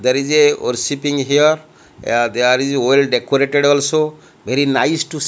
there is a worshipping here there is well decorated also very nice to see --